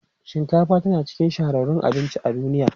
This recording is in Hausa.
Shinkafa tana cikin shahararrun abinci a duniya.